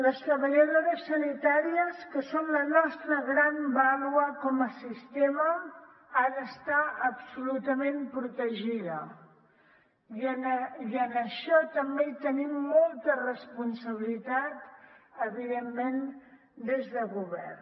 les treballadores sanitàries que són la nostra gran vàlua com a sistema han d’estar absolutament protegides i en això també hi tenim molta responsabilitat evidentment des del govern